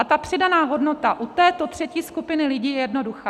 A ta přidaná hodnota u této třetí skupiny lidí je jednoduchá.